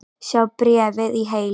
Sjá bréfið í heild